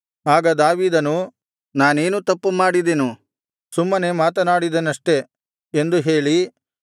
ಆಗ ದಾವೀದನು ನಾನೇನು ತಪ್ಪು ಮಾಡಿದೆನು ಸುಮ್ಮನೆ ಮಾತನಾಡಿದೆನಷ್ಟೆ ಎಂದು ಹೇಳಿ